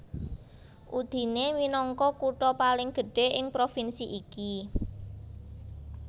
Udine minangka kutha paling gedhé ing provinsi iki